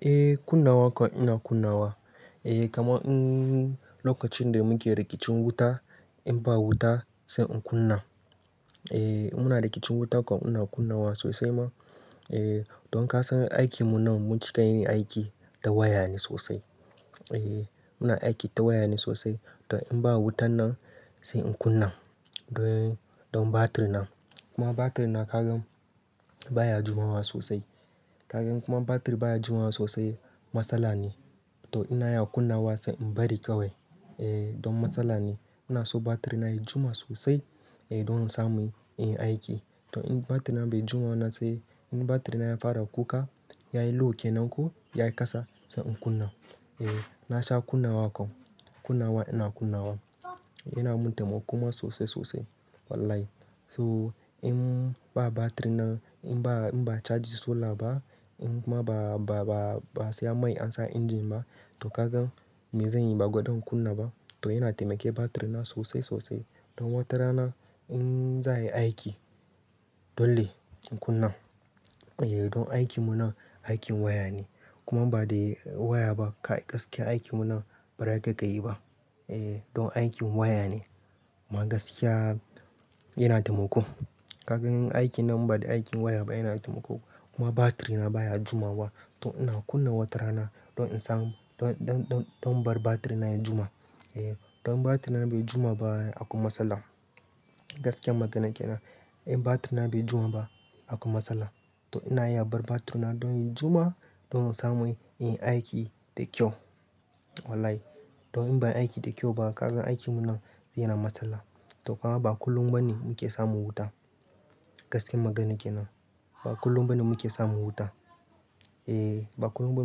Eh kunna waka ina kunnawa. Eh kamar in lokacin da muke rikicin wuta in ba wuta sai in kunna. Eh muna rikicin wuta kuwa ina kunnawa sosai ma. Eh don ka san aikinmu nan mun cika yin aiki da waya ne sosai. Eh muna aiki ta waya ne sosai. Don in ba wutan nan sai in kunna don, don batiri na. Kuma batir na kagan baya jumawa sosai. Kagan kuma in batir baya jumawa sosai matsala ne. To ina yana kunnawa sai in bari kawai. Eh don matsala ne. Ina so batir na ya juma sosai eh don in samu in yi aiki. To in batir na bai juma nan sai in batir na ya fara kuka, ya yi low ke nan ko ya yi kasa sai in kunna. Eh na sha kunna waka. Kunnawa ina kunnawa. Ina muntama kuma sosai sosai wallahi. So in ba batir na in ba, in ba charge solar ba in kuma ba, ba, ba, ba saya mai ansa engine ba to kagan me zanyi? Ba gwadan in kunna ba. To yana taimake batir na sosai sosai. Don watarana in za'a yi aiki dole in kunna. Eh don aikinmu nan aikin waya ne. Kuma ba da waya ba kai gaske aikinmu nan ba za ka iya kayi ba. Eh don aikin waya ne. Ma gaskiya yana taimako. Kagan aikin nan inba da aikin waya ba yana taimako. Kuma batir na baya jima wa. To ina kunna watarana don in samu don, don, don bar batir na ya juma. Eh don batir na bai juma ba akwai matsala. Gaskiyar maganar ke nan. In batir na bai juma ba akwai matsala. To ina iya bar batir na don ya juma don in samu inyi aiki da kyau, wallahi. Don in bai aiki da kyau ba kagan aikinmu nan yana matsala. To kuma ba kullum ba ne muke samu wuta. Gaskiyar maganar ke nan. Ba kullum ba ne muke samu wuta. Eh, ba kullum ba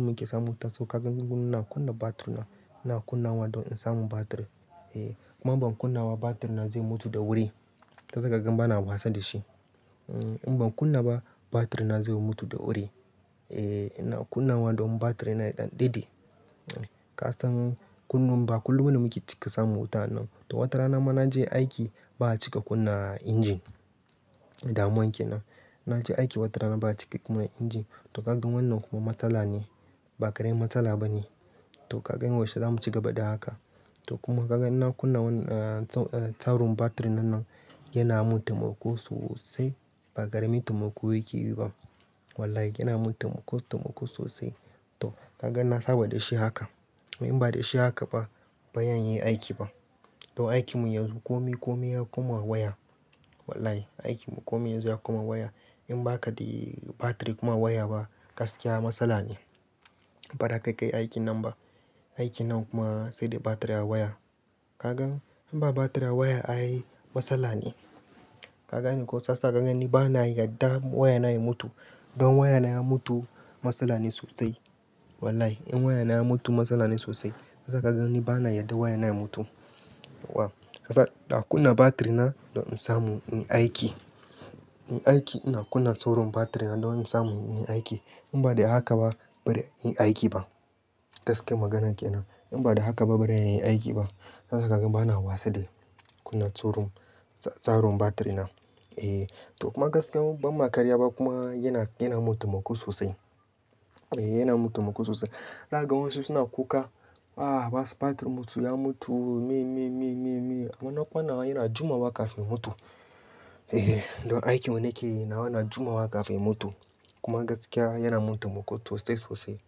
muke samu wuta. So kagan mu ina kunna batir na. Ina kunnawa don in samu batir. Eh kuma in ban kunnawa batir na zai mutu da wuri. Toh za kagan bana wasa da shi. In ban kunna ba batir na zai mutu da wuri. Eh ina kunnawa don batir na ya ɗan ɗide. Ka san kullun ba kullum ba ne muke cika samun wuta anan. To watarana ma na je aiki ba a cika kunna engine. Damuwan ke nan. Na je aiki watarana ba a cika kunna engine. To kagan wannan kuma matsala ne. Ba karamin matsala ba ne. To kagan yaushe za mu ci gaba da haka? To kuma kagan inna kunna tsarin batir na nan yana mun taimako sosai. Ba karamin taimako yake yi ba. Wallahi yana mun taimako sosai. Toh, kagan nasaba da shi haka. In ba da shi haka ba, ban iya yin aiki ba. To aikinmu yanzu komi, komi ya kuma waya. Wallahi aikinmu komi yanzu ya kuma waya. In ba ka da batir kuma waya ba gaskiya matsala ne. Ba za ka kai aikin nan ba. Aikin nan kuma sai da batir da waya. Kagan in ba batir a waya ai matsala ne. Kagane ko shiyasa kagan ni bana yarda wayana ya mutu. Don wayana ya mutu matsala ne sosai. Wallahi in wayana ya mutu matsala ne sosai. Tasa kagan ni bana yarda wayana ya mutu. Wa. Sa ina kunna batir na don in samu yin aiki. In aiki ina kunna sauran batir na don in samu yin aiki. In ba da haka ba barai in aiki ba. Gaskiyar maganar ke nan. In ba da haka ba bari yin aiki ba. Ina ganin ma ina wasa da kunna tsaron, tsarin batir na. Eh to kuma gaskiya idon ma karya ba kuma yana, yana mun taimako sosai. Eh yana mun taimako sosai. Kagan wasu suna kuka. Ah basu batir mutu, ya mutu. Me, me, me, me, me. Amma na kwana yana juma wa kafin ya mutu. Eh don aikin wanda nake yi nawa na juma wa kafin ya mutu. Kuma gaskiya yana mun taimako sosai sosai.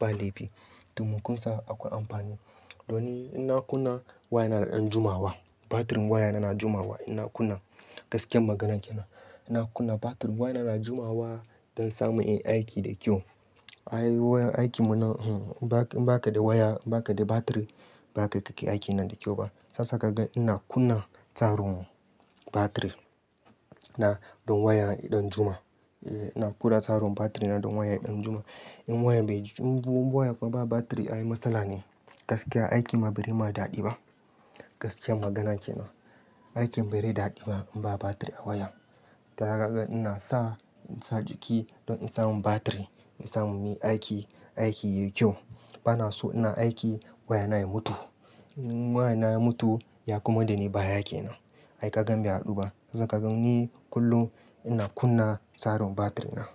Ba laifi. Taimakon sa akwai amfani. Don ina kunna wayana yana ɗan juma wa. Batirin wayana yana juma wa inna kunna. Gaskiyar maganar ke nan. Ina kunna batir wayana yana juma wa don samu yin aiki da kyau. Ai wurin aikinmu nan in ba ka da waya, in ba ka da batir ba za ka iya aikin nan da kyau ba. Shiyasa kagan ina kunna tsarin batir, na don waya ya ɗan juma. Eh ina kula tsaron batir na don waya ya ɗan juma. In waya bai, in waya kuma ba batir ai matsala ne. Gaskiya aikin ma bare ma daɗi ba. Gaskiyar magana ke nan. Aikin bare daɗi ba in ba batir a waya. To kagan ina sa, sa jiki don in samu batir mai sa mun yi aiki, aiki yayi kyau. Bana so ina aiki wayana ya mutu. In wayana ya mutu ya komar da ni baya ke nan. Ai kagan bai haɗu ba. Tasa kagan ni kullum ina kunna tsaron batir na.